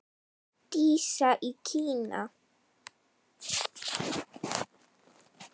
Dísa í Kína.